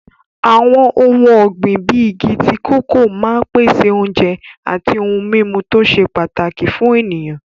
Àwọn ohun ọ̀gbìn bíi igi tíì kòkó máa ń pèsè oúnjẹ àti ohun-mímu tó ṣe pàtàkì fún ènìyàn.